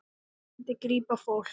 Það myndi grípa fólk.